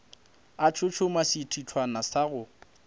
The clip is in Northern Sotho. a tshotshoma sethithwana sa go